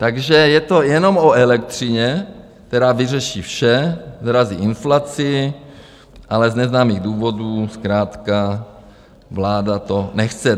Takže je to jenom o elektřině, která vyřeší vše, srazí inflaci, ale z neznámých důvodů zkrátka vláda to nechce.